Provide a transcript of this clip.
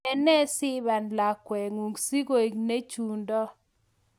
ene sipan lakwetngung sigoek ne chundo